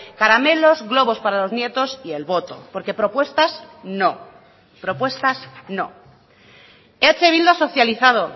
caramelos globos para los nietos y el voto porque propuestas no propuestas no eh bildu ha socializado